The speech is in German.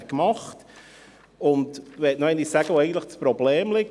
Ich möchte noch einmal darlegen, wo denn eigentlich das Problem liegt.